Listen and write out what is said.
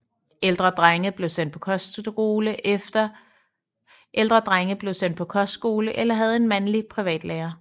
Ældre drenge blev sendt på kostskole eller havde en mandlig privatlærer